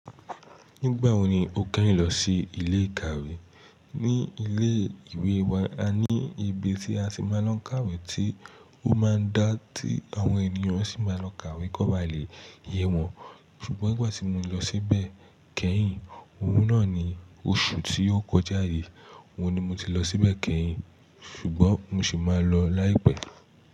Nígbà wo ni o kẹ́yìn lọ sí ilé ìkàwé? Ní ilé ìwé wa, a ní ibi tí a ti máa lọ n kàwé tí ó máa ń dá tí àwọn ènìyàn sì máa lọ kàwé kó ba lè yẹ wọn. Ṣùgbọ́n nígbà tí mo lọ síbẹ̀ kẹ́yìn, òwún náà ni oṣù tí ó kọjá yìí. Owun ni mo ti lọ síbẹ̀ kẹ́yìn, ṣùgbọ́n mo ṣi máa lọ láìpẹ́.